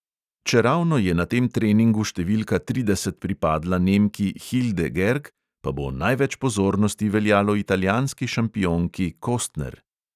Čeravno je na tem treningu številka trideset pripadla nemki hilde gerg, pa bo največ pozornosti veljalo italijanski šampionki kostner.